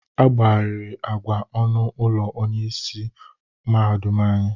Agbagarịrị agwa ọnụ ụlọ ọrụ onyeisi mahadum anyị.